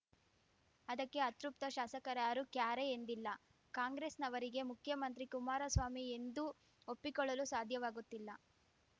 ಅದಕ್ಕೆ ಅತೃಪ್ತ ಶಾಸಕರಾರ್ಯಾರು ಕ್ಯಾರೆ ಎಂದಿಲ್ಲ ಕಾಂಗ್ರೆಸ್‌ನವರಿಗೆ ಮುಖ್ಯಮಂತ್ರಿ ಕುಮಾರಸ್ವಾಮಿ ಎಂದು ಒಪ್ಪಿಕೊಳ್ಳಲು ಸಾಧ್ಯವಾಗುತ್ತಿಲ್ಲ